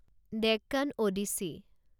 Deccan Odissi